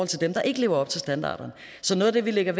til dem der ikke lever op til standarderne så noget af det vi lægger